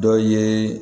Dɔ ye